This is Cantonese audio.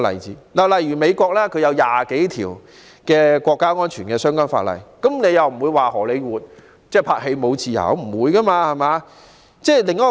此外，美國訂有20多項涉及國家安全的法例，但沒有人會說荷里活已失去拍攝電影的自由。